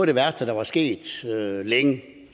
det værste der var sket længe